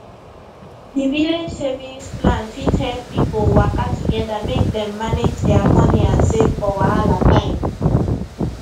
di village savings plan fit help pipo waka together make dem manage dia money and save for wahala time